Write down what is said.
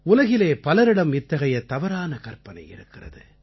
உலகிலே பலரிடம் இத்தகைய தவறான கற்பனை இருந்தது